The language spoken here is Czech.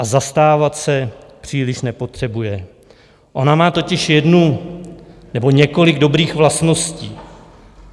A zastávat se příliš nepotřebuje, ona má totiž jednu - nebo několik dobrých vlastností.